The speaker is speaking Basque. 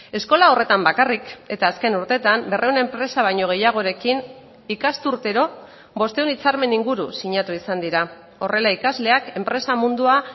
eskola horretan bakarrik eta azken urtetan berrehun enpresa baino gehiagorekin ikasturtero bostehun hitzarmen inguru sinatu izan dira horrela ikasleak enpresa mundua